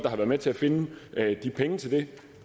har været med til at finde de penge til det